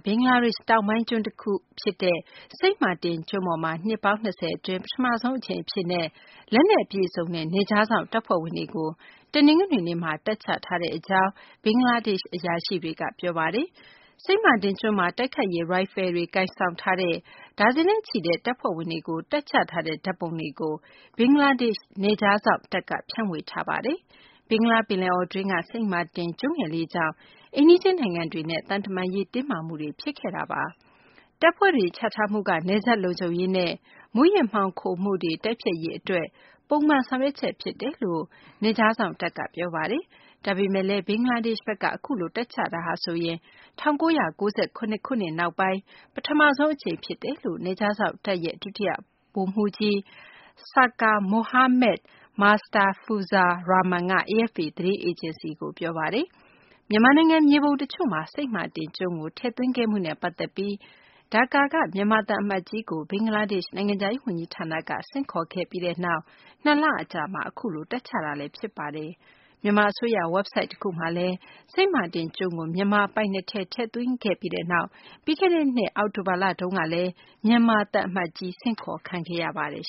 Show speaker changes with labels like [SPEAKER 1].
[SPEAKER 1] ဘင်္ဂလားဒေရှ့် တောင်ပိုင်း ကျွန်းတခုမှာ နှစ်ပေါင်း ၂၀ အတွင်း ပထမဆုံး အကြိမ်အဖြစ် လက်နက်အပြည့်အစုံနဲ့ နယ်ခြားစောင့်တပ်ဖွဲ့ဝင်တွေကို တနင်္ဂနွေနေ့မှာ တပ်ချထားကြောင်း ဘင်္ဂလားဒေရှ့် အရာရှိတွေက ပြောပါတယ်။ စိန့်မာတင် ကျွန်းမှာ တိုက်ခိုက်ရေး ရိုင်ဖယ်တွေ ကိုင်ဆောင်ထားတဲ့ ဒါဇင်နဲ့ချီတဲ့ တပ်ဖွဲ့ဝင်တွေကို တပ်ချထားတဲ့ ဓာတ်ပုံတွေကို ဘင်္ဂလားဒေရှ့် နယ်ခြားစောင့်တပ်က ဖြန့်ဝေထားပါတယ်။ ဘင်္ဂလားပယ်လယ်အော်တွင်းက စိန့်မာတင် ကျွန်းငယ်လေးကြောင့် အိမ်နီးချင်းနိုင်ငံတွေနဲ့ သံတမန်ရေး တင်းမာမှုတွေ ဖြစ်နေတာပါ။ တပ်ဖွဲ့တွေ ချထားမှုက နယ်စပ်လုံခြုံရေးနဲ့ မူးယစ်မှောင်ခိုမှုတွေ တိုက်ဖျက်ရေး အတွက် ပုံမှန် ဆောင်ရွက်ချက် ဖြစ်တယ်လို့ နယ်ခြားစောင့်တပ်က ပြောဆိုထားပါတယ်။ ဒါပေမယ့်လည်း ဘင်္ဂလားဒေရှ့်ဘက်က အခုလို တပ်ချတာဟာဆိုရင် ၁၉၉၇ ခုနှစ် နောက်ပိုင်း ပထမဆုံး အကြိမ် ဖြစ်တယ်လို့ နယ်ခြားစောင့်တပ်ရဲ့ ဒုတိယ ဗိုလ်မှူးကြီး Sarker Mohammad Mustafizur Rahman က AFP သတင်းအေဂျင်စီကို ပြောပါတယ်။ မြန်မာနိုင်ငံ မြေပုံတချို့မှာ စိန့်မာတင်ကျွန်းကို ထည့်သွင်းထားမှုနဲ့ ပတ်သက်ပြီး ဒါကာက မြန်မာသံအမတ်ကြီးကို ဘင်္ဂလားဒေရှ့် နိုင်ငံခြားရေး ဝန်ကြီးဌာနက ဆင့်ခေါ်ခဲ့ပြီးနောက် ၂ လ အကြာမှာ အခုလို တပ်ချတာလည်း ဖြစ်ပါတယ်။ မြန်မာအစိုးရ ဝက်ဘ်ဆိုက် တခုမှာ စိန့်မာတင် ကျွန်းကို မြန်မာပိုင်နက်ထဲ ထည့်သွင်းခဲ့ပြီးနောက် ပြီးခဲ့တဲ့ နှစ် အောက်တိုဘာလတုန်းကလည်း မြန်မာသံအမတ်ကြီးကို ဆင့်ခေါ်ခံခဲ့ရပါတယ်